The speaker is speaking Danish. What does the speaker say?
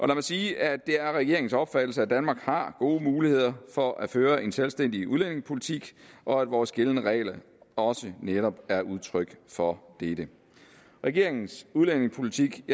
mig sige at det er regeringens opfattelse at danmark har gode muligheder for at føre en selvstændig udlændingepolitik og at vores gældende regler også netop er udtryk for dette regeringens udlændingepolitik